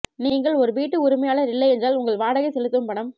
நீங்கள் ஒரு வீட்டு உரிமையாளர் இல்லையென்றால் உங்கள் வாடகை செலுத்தும் பணம்